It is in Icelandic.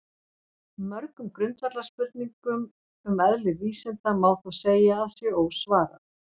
Mörgum grundvallarspurningum um eðli vísinda má þó segja að sé ósvarað.